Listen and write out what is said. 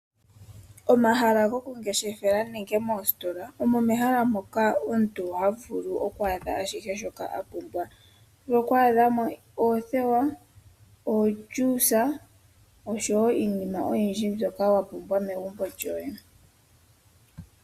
Omahala gokungeshefela nenge moositola omo mehala moka omuntu ha vulu okwaadha ashihe shoka a pumbwa. Oho vulu okwaadha mo oothewa, oohoolosa, oshowo iinima oyindji mbyoka wa pumbwa megumbo lyoye.